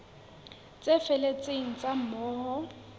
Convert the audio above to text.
tse felletseng tsa moo ho